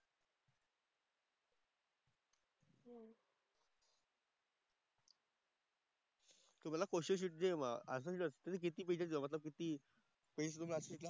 तुला question sheet जे असं असतं ना किती पेजेस लिहा म्हणजे किती